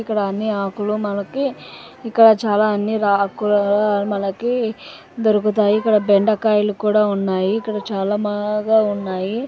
ఇక్కడ అన్ని ఆకులూ మనకి ఇక్కడ చాలా అన్ని ఆకుకూరలు మనకి దొరుకుతాయి ఇక్కడ బెండకాయలు కూడా ఉన్నాయి ఇక్కడ చాలా బా-బాగా ఉన్నాయి.